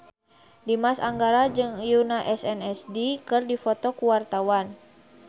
Dimas Anggara jeung Yoona SNSD keur dipoto ku wartawan